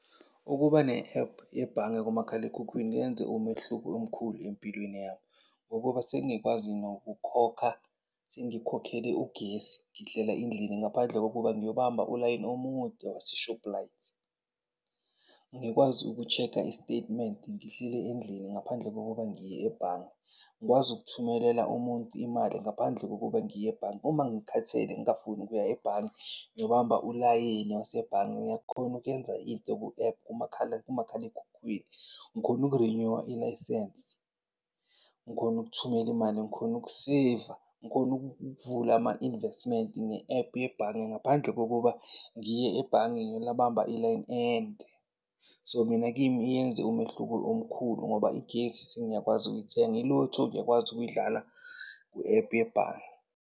Ukuba ne-app yebhange kumakhalekhukhwini kuyenze umehluko omkhulu empilweni yami. Ngokuba sengikwazi nokukhokha, sengikhokhele ugesi, ngihlela endlini ngaphandle kokuba ngiyobamba ulayini omude waseShobhilayithi. Ngikwazi uku-check-a i-statement ngihleli endlini ngaphandle kokuba ngiye ebhange, ngikwazi ukuthumelela umuntu imali ngaphandle kokuba ngiye ebhange. Uma ngikhathele ngingafuni ukuya ebhange ngiyobamba ulayini wasebhange ngiyakhona ukuyenza into ku-app kumakhalekhukhwini. Ngikhone uku-renew-a ilayisensi. Ngikhona ukuthumela imali, ngikhone ukuseyiva. Ngikhone ukuvula ama-investment nge-app yebhange. Ngaphandle kokuba ngiye ebhange, ngiyobamba i-line ende. So, mina kimi iyenze umehluko omkhulu ngoba igesi sengiyakwazi ukuyithenga, i-lotto ngiyakwazi ukuyidlala ku-app yebhange.